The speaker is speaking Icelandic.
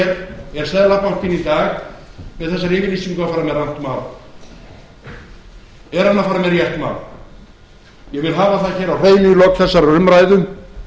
er seðlabankinn í dag með þessari yfirlýsingu að fara með rangt mál er hann að fara með rétt mál ég vil hafa það hér á hreinu hér í lok